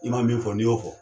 I ma min fɔ n'i y'o fɔ